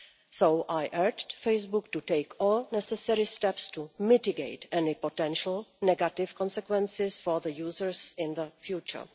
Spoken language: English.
So I urged Facebook to take all necessary steps to mitigate any potential negative consequences for users in the future.